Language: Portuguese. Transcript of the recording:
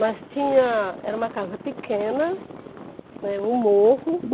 Mas tinha, era uma casa pequena, né, um morro.